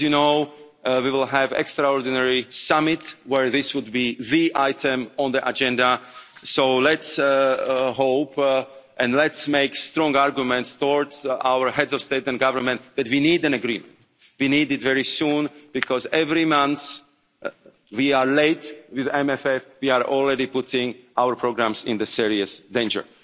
As you know, we will have an extraordinary summit where this would be the item on the agenda, so let's hope and let's make strong arguments towards our heads of state and government that we need an agreement, we need it very soon because every month that we are late with the MFF, we are already putting our programmes in serious danger.